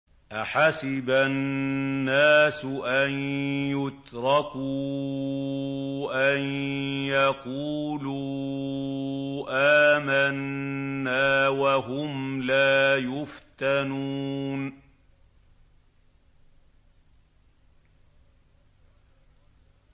أَحَسِبَ النَّاسُ أَن يُتْرَكُوا أَن يَقُولُوا آمَنَّا وَهُمْ لَا يُفْتَنُونَ